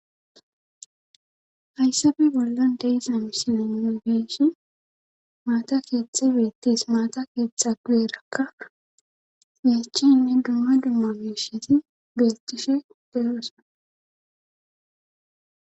Ayssabe bollon deizamsileme geshi maata keettxa beettis maata keettha gu7erakka yachi inne gamma dumma beesheti gascishe deyoosa.